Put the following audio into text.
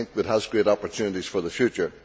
I think it has great opportunities for the future.